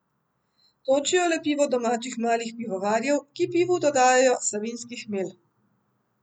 Točijo le pivo domačih malih pivovarjev, ki pivu dodajajo savinjski hmelj.